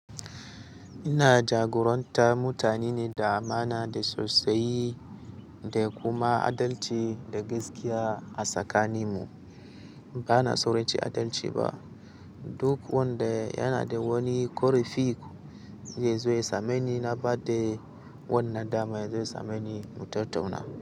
Ina jagoranta mutane ne da amana da sosai da kuma adalci da gaskiya a tsakaninmu. Bana sauranci adalci ba. Duk wanda yana da wani korifik zai zo ya same ni. Na ba da wannan dama yazo ya same ni mu tattauna.